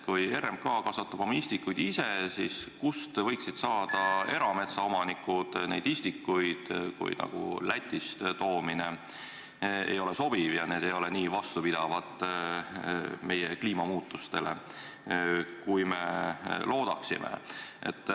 Kui RMK kasvatab oma istikud ise, siis kust võiksid erametsaomanikud istikuid saada, kui Lätist toomine ei ole sobiv ja need ei ole kliimamuutustele nii vastupidavad, kui me loodame.